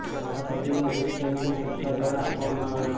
મારા પતિને વૃધ્ધ પેન્શન સરકાર દ્વારા આપવામાં આવે છે